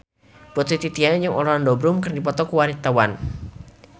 Putri Titian jeung Orlando Bloom keur dipoto ku wartawan